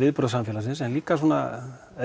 viðbrögð samfélagsins en líka